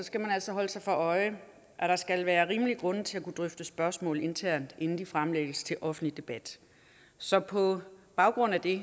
skal man altså holde sig for øje at der skal være rimelige grunde til at kunne drøfte spørgsmål internt inden de fremlægges til offentlig debat så på baggrund af det